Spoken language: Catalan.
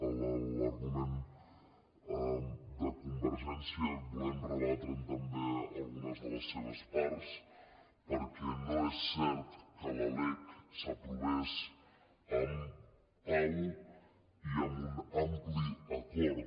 de l’argument de convergència volem rebatre’n també algunes de les seves parts perquè no és cert que la lec s’aprovés amb pau i amb un ampli acord